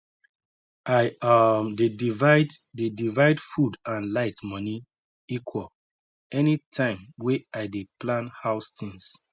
i um dey divide dey divide food and light moni equal any time way i dey plan house things